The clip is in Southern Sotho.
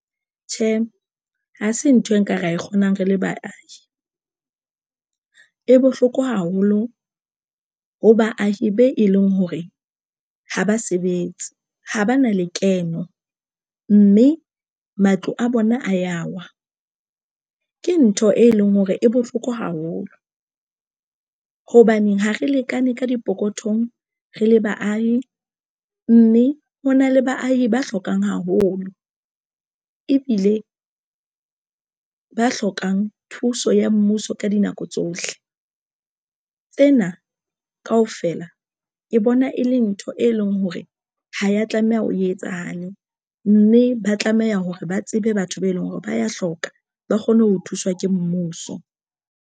Tjhe, ha se nthwe nka ra e kgonang re le baahi e bohloko haholo ho baahi be e leng hore haba sebetse ha ba na lekeno mme matlo a bona a yawa, ke ntho e leng hore e bohloko haholo. Hobane ha re lekane ka dipokothong re le baahi, mme ho na le baahi ba hlokang haholo ebile ba hlokang thuso ya mmuso ka dinako tsohle. Tsena kaofela, ke bona e le ntho e leng hore ha ya tlameha o e etsahale mme ba tlameha hore ba tsebe batho be leng hore ba ya hloka ba kgone ho thuswa ke mmuso.